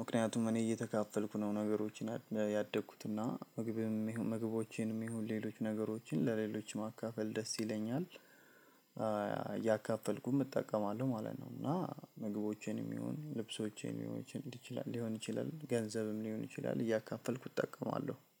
ምክንያቱም እኔ እየተካፈልኩ ነው ነገሮችን ያደግኩትና ምግብም ምግቦቼንም ይሁን ሌሎች ነገሮችን ለሌሎች ማካፈል ደስ ይለኛል። እያካፈልኩም እጠቀማለሁ ማለት ነው። እና ምግቦቼንም ይሁን ልብሶቼንም ይሁን ሊሆን ይችላል ሊሆን ይችላል ገንዘብም ሊሆን ይችላል እያካፈልኩ እጠቀማለሁ